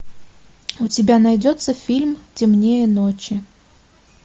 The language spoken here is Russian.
у тебя найдется фильм темнее ночи